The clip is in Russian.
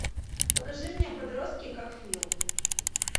покажи мне подростки как фил